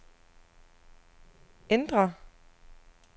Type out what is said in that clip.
ændr